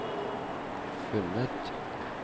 funnet